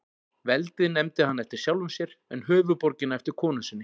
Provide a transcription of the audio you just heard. Veldið nefndi hann eftir sjálfum sér, en höfuðborgina eftir konu sinni.